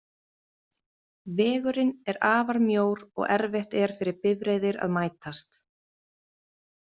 Vegurinn er afar mjór og erfitt er fyrir bifreiðir að mætast.